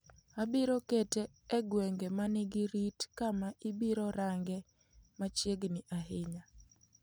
Abiro kete e gwenge ma nigi rit kama ibiro range machiegini ahinya.